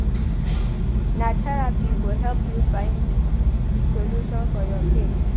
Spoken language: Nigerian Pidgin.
Na therapy go help you find solution for your pain.